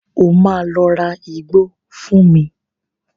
O máa lọ ra igbó fún mi.